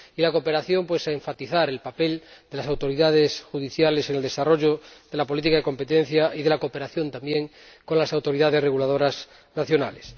Y la cooperación nos lleva a enfatizar el papel de las autoridades judiciales en el desarrollo de la política de competencia y de la cooperación, también, con las autoridades reguladoras nacionales.